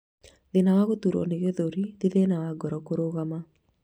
Thina wa guturwo ni githuri ti thina wa ngoro kurugama